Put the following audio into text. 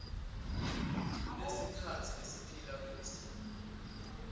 kulesikhatsi lesiphila kuso